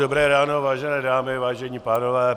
Dobré ráno, vážené dámy, vážení pánové.